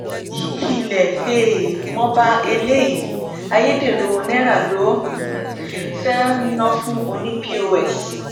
ilé um mo bá eléyìí ayédèrú owó náírà lọ um fee ná fún ọnì pọs